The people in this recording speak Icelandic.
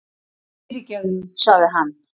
Fyrirgefðu, sagði hann.